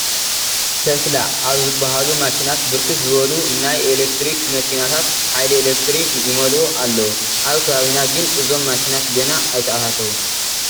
tesla ኣብ ዝበሃሉ ማሽናት ብርክት ዝበሉ ናይ ኤለክትሪክ መኪናታት ሓይሊ ኤለክትሪክ ይመልኡ ኣለዉ፡፡ ኣብ ከባቢና ግን እዞም ማሽናት ገና ኣይተኣታተውን፡፡